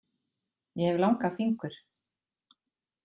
Ég hef langa fingur.